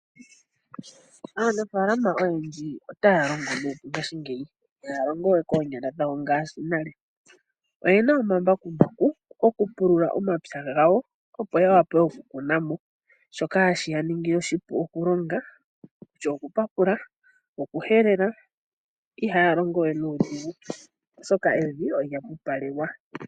Aanafaalama oyendji otaya longo nuupu ngaashingeyi. Ihaya longowe koonyala dhayo ngaashi nale . Oyena omambakumbaku gokupulula omwapya gawo opo ya vule okukuna mo. Shoka sheya ningile oshipu okulonga kutya okupapula, okuhelela iha ya longowe nuudhigu oshoka evi olya pupalelwa.